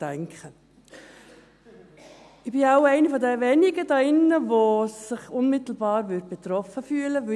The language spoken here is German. Ich bin wohl eine der wenigen hier drinnen, die sich unmittelbar betroffen fühlen würde.